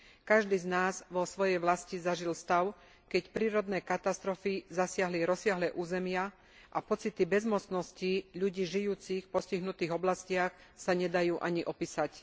Každý z nás vo svojej vlasti zažil stav, keď prírodné katastrofy zasiahli rozsiahle územia a pocity bezmocnosti ľudí žijúcich v postihnutých oblastiach sa nedajú ani opísať.